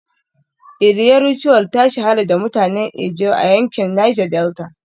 Iria Ritual ta shahara da mutanen ijaw a yankin Niger Delta